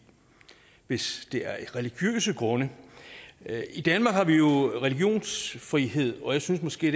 hvis det er af religiøse grunde i danmark har vi jo religionsfrihed og jeg synes måske